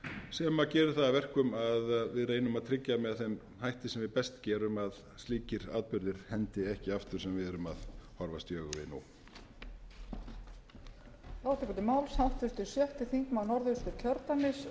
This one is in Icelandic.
sem gerir það að verkum að við reynum að tryggja með þeim hætti sem við best gerum að slíkir atburðir hendi ekki aftur sem við erum að horfast í augu við nú